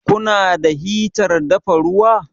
Ku na da hitar dafa ruwa?